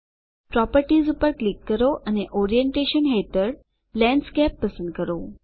properties પર click કરો અને ઓરિએન્ટેશન હેઠળ લેન્ડસ્કેપ પસંદ કરો